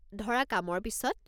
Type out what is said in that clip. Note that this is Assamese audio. ধৰা কামৰ পিছত?